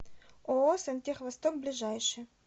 ооо сантех восток ближайший